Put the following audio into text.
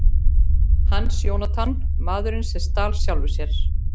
Hans Jónatan: Maðurinn sem stal sjálfum sér.